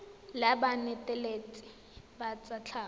la banetetshi ba tsa tlhago